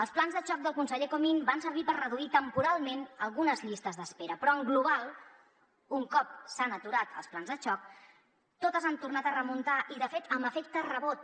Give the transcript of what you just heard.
els plans de xoc del conseller comín van servir per reduir temporalment algunes llistes d’espera però en global un cop s’han aturat els plans de xoc totes han tornat a remuntar i de fet amb efecte rebot